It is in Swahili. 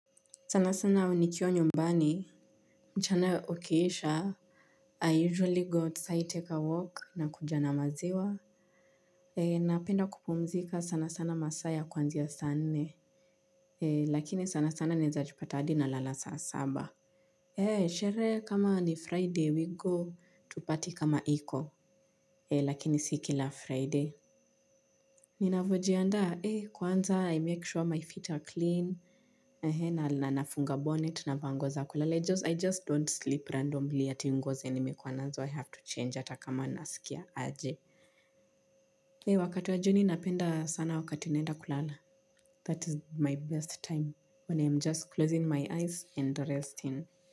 Sana sana nikiwa nyumbani. Mchana ukiisha I usually go outside take a walk nakuja na maziwa. Napenda kupumzika sana sana masaa ya kuanzia saa nne. Lakini sana sana naezajipata hadi nalala saa saba. Sherehe kama ni friday we go to party kama iko. Lakini si kila friday. Ninavyojiandaa kwanza I make sure my feet are clean na nafunga bonnet na vaa nguo za kulala I just don't sleep randomly ati nguo zenye nimekuwa nazo I have to change hata kama naskia aje. Eeeh wakati wa jioni napenda sana wakati naenda kulala. That is my best time. When I am just closing my eyes and resting.